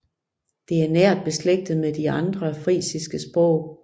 Det er nært beslægtet med de andre frisiske sprog